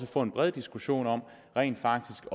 får en bred diskussion om rent faktisk